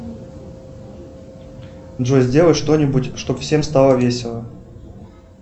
джой сделай что нибудь чтоб всем стало весело